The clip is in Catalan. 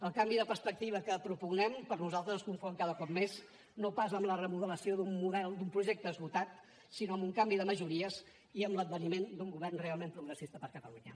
el canvi de perspectiva que propugnen per nosaltres es confon cada cop més no pas amb la remodelació d’un model d’un projecte esgotat sinó amb un canvi de majories i amb l’adveniment d’un govern realment progressista per a catalunya